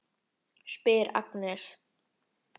spyr Agnes.